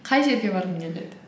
қай жерге барғың келеді